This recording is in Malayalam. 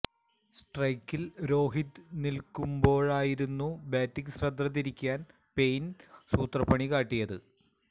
സ്ട്രൈക്കില് രോഹിത് നില്ക്കുമ്പോഴായിരുന്നു ബാറ്റിങ് ശ്രദ്ധ തിരിക്കാന് പെയ്ന് സൂത്രപ്പണി കാട്ടിയത്